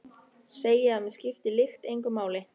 Segi að mig skipti lykt engu máli.